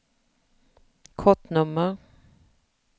kortnummer